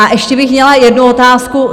A ještě bych měla jednu otázku.